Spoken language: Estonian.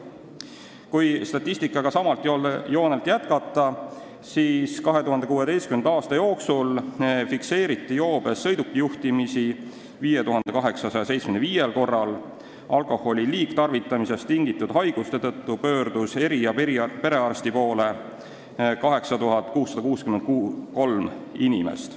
Kui statistikaga samalt joonelt jätkata, siis võib öelda, et 2016. aasta jooksul fikseeriti joobes sõidukijuhtimisi 5875 korral ning alkoholi liigtarvitamisest tingitud haiguste tõttu pöördus eri- ja perearsti poole 8663 inimest.